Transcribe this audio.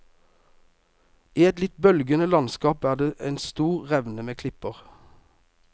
I et litt bølgende landskap er det en stor revne med klipper.